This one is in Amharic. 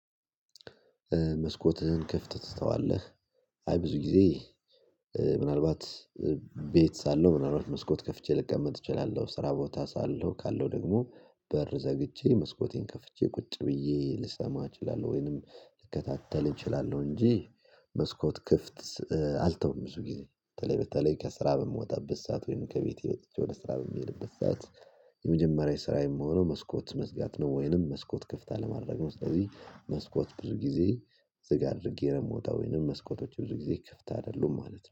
"መስኮትህን ክፍት ትተዋለህ?" አይ ብዙ ጊዜ ምናልባት ቤት ሳለሁ ምናልባት መስኮት ከፍቼ ልቀምጥ እችላለሁ፤ ስራ ቦታ ሳለሁ ካለው ደግሞ በር ዘግቼ መስኮቴን ከፍቼ ቁጭ ብዬ ልሰማ እችላለሁ፤ ወይንም ልከታተል እችላለሁ። እንጂ መስኮት ክፍት አልተውም ብዙ ጊዜ በተለይ በተለይ ከስራ በምወጣበት ሰዓ፣ ት ወይም ከቤቴ ወደ ስራ በምሄድበት ሰዓት ስራ የሚሆነው መስኮት መዝጋት ነው፣ ወይንም መስኮት ክፍት አለማድረግ ነው። ስለዚህ መስኮት ብዙ ጊዜ ዝግ አድርጌ ነው የምወጣው፤ ወይንም መስኮቶች ብዙ ጊዜ ክፍት አይደሉም ማለት ነው።